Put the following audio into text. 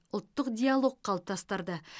ұлттық диалог қалыптастырды